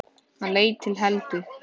Hann leit til Helgu.